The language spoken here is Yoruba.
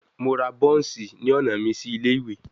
Mo ra buns ni ọna mi si ile-iwe